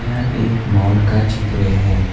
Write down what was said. यह एक मॉल का चित्र है।